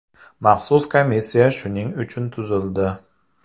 Maxsus komissiya shuning uchun tuzildi.